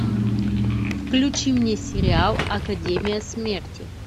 включи мне сериал академия смерти